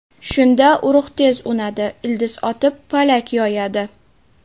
Shunda urug‘ tez unadi, ildiz otib, palak yoyadi.